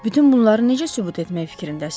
Bütün bunları necə sübut etmək fikrindəsiz?